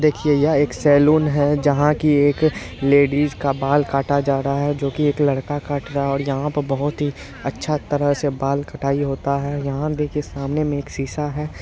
देखिए यह एक सलून है जहां की एक लेडीज का बाल काटा जा रहा है जो की एक लड़का काट रहा है और यहाँ पे बहुत ही अच्छा तरह से बाल कटाई होता है | यहाँ देखिये सामने में एक सीसा है।